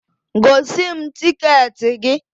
Gosi m tịketị gị!